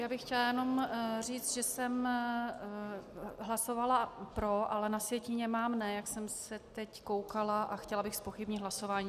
Já bych chtěla jenom říct, že jsem hlasovala pro, ale na sjetině mám ne, jak jsem se teď koukala, a chtěla bych zpochybnit hlasování.